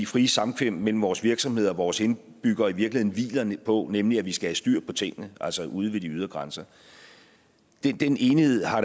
frie samkvem mellem vores virksomheder og vores indbyggere i virkeligheden hviler på nemlig at vi skal have styr på tingene altså ude ved de ydre grænser den enighed har